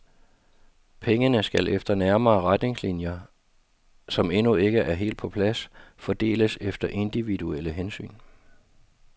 Pengene skal efter nærmere retningslinjer, som endnu ikke er helt på plads, fordeles efter individuelle hensyn.